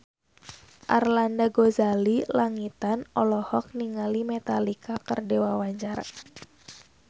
Arlanda Ghazali Langitan olohok ningali Metallica keur diwawancara